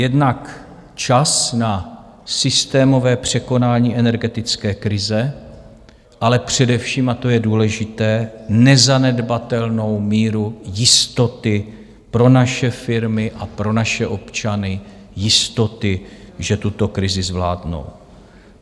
Jednak čas na systémové překonání energetické krize, ale především, a to je důležité, nezanedbatelnou míru jistoty pro naše firmy a pro naše občany, jistoty, že tuto krizi zvládnou.